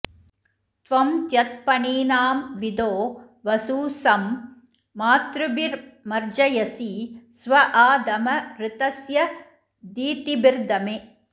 त्वं त्यत्पणीनां विदो वसु सं मातृभिर्मर्जयसि स्व आ दम ऋतस्य धीतिभिर्दमे